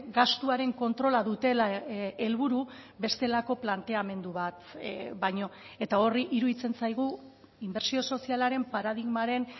gastuaren kontrola dutela helburu bestelako planteamendu bat baino eta horri iruditzen zaigu inbertsio sozialaren paradigmaren